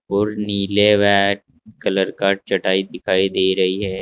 और नीले back colour का चटाई दिखाई दे रही है।